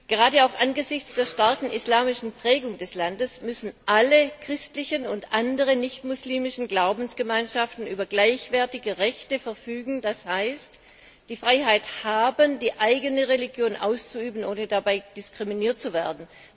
Gerade auch angesichts der starken islamischen Prägung des Landes müssen alle christlichen und anderen nicht muslimischen Glaubensgemeinschaften über gleichwertige Rechte verfügen, das heißt, die Freiheit haben, die eigene Religion auszuüben, ohne dabei diskriminiert zu werden.